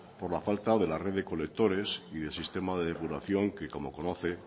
por la falta de la red de colectores y del sistema de depuración que como conoce